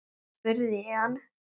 spurði ég hann.